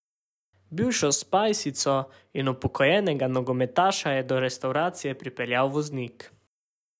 Bivšo spajsico in upokojenega nogometaša je do restavracije pripeljal voznik.